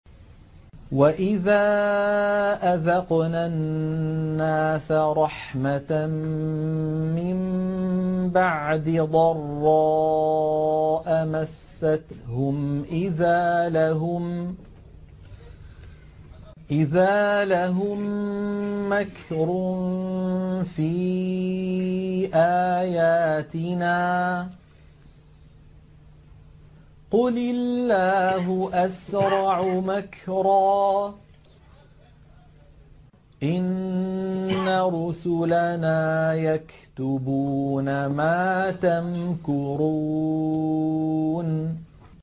وَإِذَا أَذَقْنَا النَّاسَ رَحْمَةً مِّن بَعْدِ ضَرَّاءَ مَسَّتْهُمْ إِذَا لَهُم مَّكْرٌ فِي آيَاتِنَا ۚ قُلِ اللَّهُ أَسْرَعُ مَكْرًا ۚ إِنَّ رُسُلَنَا يَكْتُبُونَ مَا تَمْكُرُونَ